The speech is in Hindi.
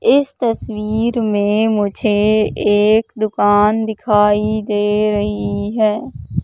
इस तस्वीर में मुझे एक दुकान दिखाई दे रही है।